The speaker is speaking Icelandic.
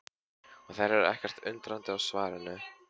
Og þær eru ekkert undrandi á svarinu.